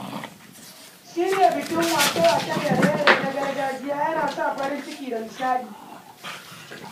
Shirya bikin waƙe-waƙe da raye-raye na gargajiya yana sa farin ciki da nishaɗi.